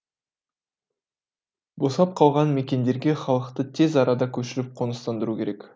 босап қалған мекендерге халықты тез арада көшіріп қоныстандыру керек